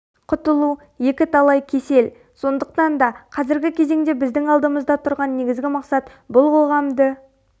құтылу екі талай кесел сондықтан да қазіргі кезеңде біздің алдымызда тұрған негізгі мақсат бұл қоғамды